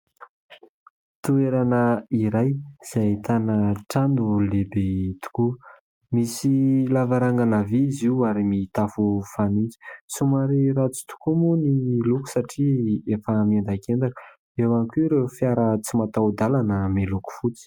Toerana iray izay ahitana trano lehibe tokoa. Misy lavarangana vỳ izy io ary mitafo fanitso. Somary ratsy tokoa moa ny loko satria efa miendakendaka. Eo ihany koa ireo fiara tsy mataho-dalana miloko fotsy.